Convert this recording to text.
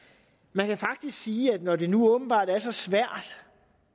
man kan faktisk sige at når det nu åbenbart er så svært